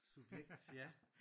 Subjekt ja